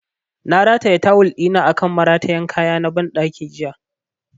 Na rataya tawul ɗina akan maratayan kaya na ban ɗaki jiya